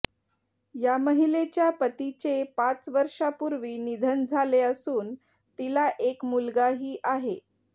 या महिलेच्या पतीचे पाच वर्षापूर्वी निधन झाले असून तीला एक मुलगाही आहे